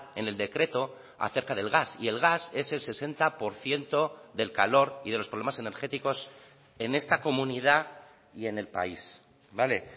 en el decreto acerca del gas y el gas es el sesenta por ciento del calor y de los problemas energéticos en esta comunidad y en el país vale